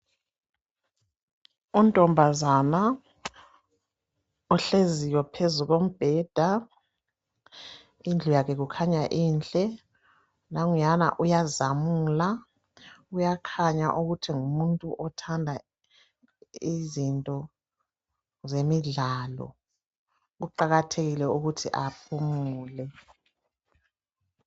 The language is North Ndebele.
Untombazana ohleziyo phezu kombheda, indlu yakhe kukhanya inhle, nanguyana uyazamula, uyakhanya ukuthi ngumuntu othanda izinto zemidlalo, kuqakathekile ukuthi aphumule.